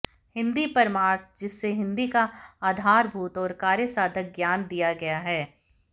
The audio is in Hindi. हिंदी परमार्थ जिसमें हिंदी का आधारभूत और कार्यसाधक ज्ञान दिया गया है